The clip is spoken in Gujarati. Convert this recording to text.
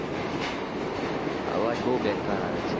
અવાજ બઉ બેકાર આવે છે